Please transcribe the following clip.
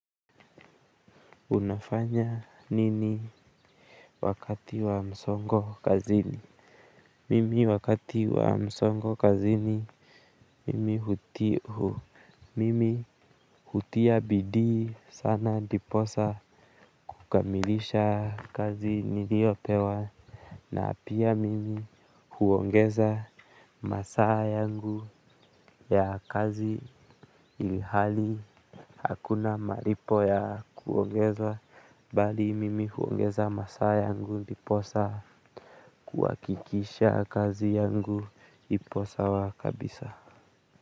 Unafanya nini wakati wa msongo kazini? Mimi wakati wa msongo kazini mimi hutia. Mimi hutia bidii sana ndiposa kukamilisha kazi niliopewa na pia mimi huongeza masaa yangu ya kazi ilhali hakuna malipo ya kuongezwa bali mimi huongeza masaa yangu ndiposa kuhakikisha kazi yangu, ipo sawa kabisa.